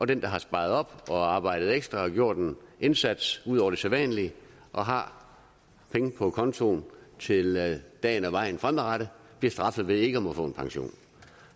dem der har sparet op og arbejdet ekstra og gjort en indsats ud over det sædvanlige og har penge på kontoen til dagen og vejen fremadrettet bliver straffet ved ikke at få nogen pension